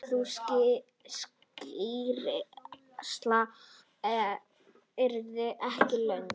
Sú skýrsla yrði ekki löng.